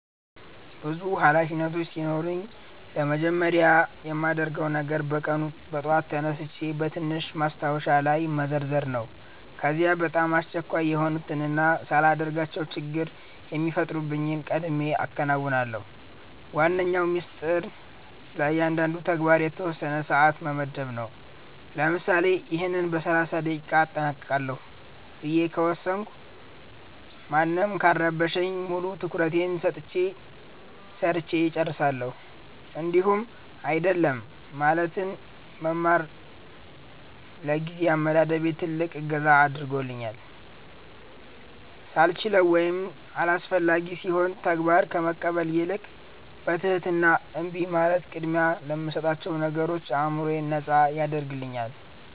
ብዙ ኃላፊነቶች ሲኖሩኝ ለመጀመሪያ የማደርገው ነገር በየቀኑ ጠዋት ሥራዎቼን በትንሽ ማስታወሻ ላይ መዘርዘር ነው። ከዚያ በጣም አስቸኳይ የሆኑትንና ሳላደርጋቸው ችግር የሚፈጥሩትን ቀድሜ አከናውናለሁ። ዋነኛው ሚስጥር ለእያንዳንዱ ተግባር የተወሰነ ሰዓት መመደብ ነው፤ ለምሳሌ "ይህን በ30 ደቂቃ አጠናቅቃለሁ" ብዬ ከወሰንኩ ማንም ካልረበሸኝ ሙሉ ትኩረቴን ሰጥቼ ሰርቸ እጨርሳለሁኝ። እንዲሁም "አይደለም" ማለትን መማር ለጊዜ አመዳደቤ ትልቅ እገዛ አድርጎልኛል፤ ሳልችለው ወይም አላስፈላጊ ሲሆን ተግባር ከመቀበል ይልቅ በትህትና እምቢ ማለት ቅድሚያ ለምሰጣቸው ነገሮች አዕምሮዬን ነጻ ያደርግልኛል።